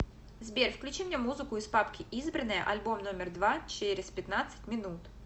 сбер включи мне музыку из папки избранное альбом номер два через пятнадцать минут